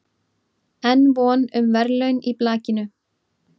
Enn von um verðlaun í blakinu